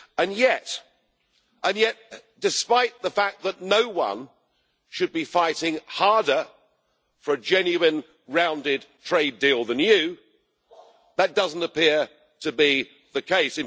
And yet, despite the fact that no one should be fighting harder for a genuine rounded trade deal than you, that doesn't appear to be the case.